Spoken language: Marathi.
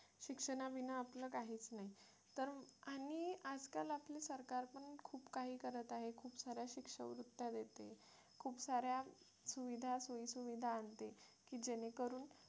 शिक्षणाविना आपलं काहीच नाही तर आणि आजकाल आपला सरकार पण खूप काही करत आहे खूप साऱ्या शिष्यवृत्ती देते साऱ्या सुविधा सोयी सुविधा आणते की जेणेकरून